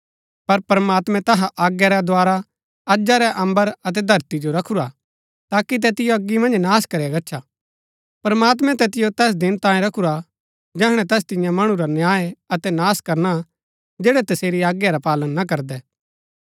पर प्रमात्मैं तैहा आज्ञा रै द्धारा अजा रै अम्बर अतै धरती जो रखुरा हा ताकि तैतिओ अगी मन्ज नाश करया गच्छा प्रमात्मैं तैतिओ तैस दिना तांये रखुरा हा जैहणै तैस तिन्या मणु रा न्याय अतै नाश करना जैड़ै तसेरी आज्ञा रा पालन ना करदै